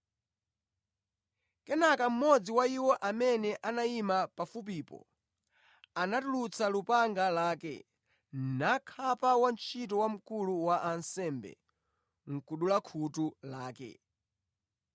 Kenaka mmodzi wa iwo amene anayima pafupipo anatulutsa lupanga lake nakhapa wantchito wa wamkulu wa ansembe, nʼkudula khutu lake.